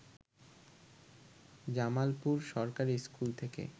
জামালপুর সরকারি স্কুল থেকে